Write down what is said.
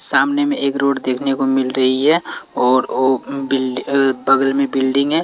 सामने में एक रोड देखने को मिल रही है और ओ बिल्ड बगल में बिल्डिंग है।